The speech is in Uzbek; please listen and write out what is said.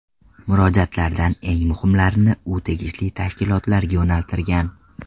Murojaatlardan eng muhimlarini u tegishli tashkilotlarga yo‘naltirgan.